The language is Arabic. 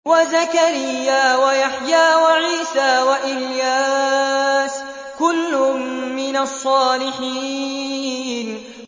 وَزَكَرِيَّا وَيَحْيَىٰ وَعِيسَىٰ وَإِلْيَاسَ ۖ كُلٌّ مِّنَ الصَّالِحِينَ